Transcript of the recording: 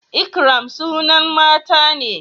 ikram sunan mata ne